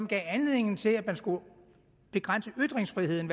gav anledning til at man skulle begrænse ytringsfriheden